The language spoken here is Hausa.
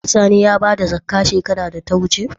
Sani ya bada zakkah shekarar da ta wuce?